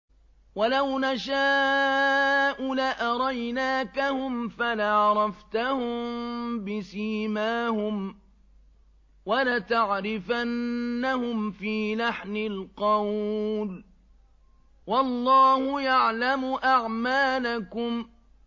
وَلَوْ نَشَاءُ لَأَرَيْنَاكَهُمْ فَلَعَرَفْتَهُم بِسِيمَاهُمْ ۚ وَلَتَعْرِفَنَّهُمْ فِي لَحْنِ الْقَوْلِ ۚ وَاللَّهُ يَعْلَمُ أَعْمَالَكُمْ